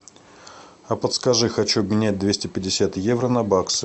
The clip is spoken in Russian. а подскажи хочу обменять двести пятьдесят евро на баксы